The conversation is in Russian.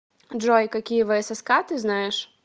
джой какие всск ты знаешь